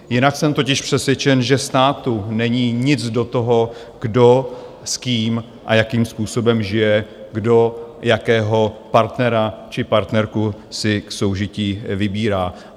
Jinak jsem totiž přesvědčen, že státu není nic do toho, kdo s kým a jakým způsobem žije, kdo jakého partnera či partnerku si k soužití vybírá.